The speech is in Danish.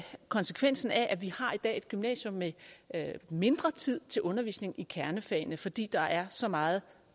konsekvensen af at vi i har et gymnasium med mindre tid til undervisning i kernefagene fordi der er så meget